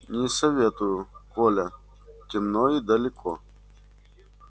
не советую коля темно и далеко